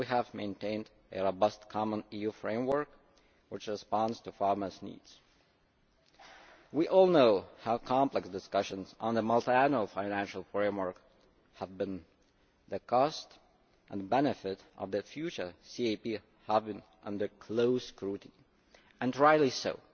We have maintained a robust common EU framework which responds to farmers' needs. We all know how complex the discussions on the Multiannual Financial Framework have been with the cost and benefit of the future CAP coming under close scrutiny and rightly so.